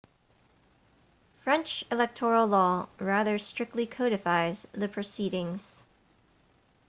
french electoral law rather strictly codifies the proceedings